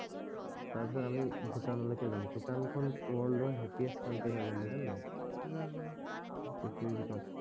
তাৰ পিছত আমি ভূটান লৈকে যাম ভূটান খন ৱৰ্ল্ডৰ হেপিয়েষ্ট কান্ত্ৰি হয় গম পাইছা নাই জানো পৃথিৱীৰ ভিতৰত